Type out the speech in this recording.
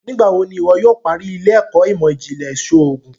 Nigbawo ní iwọ yóò parí ile-ẹkọ imọ-jinlẹ iṣoogun?